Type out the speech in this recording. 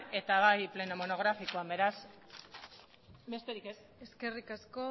eta bai pleno monografikoan besterik ez eskerrik asko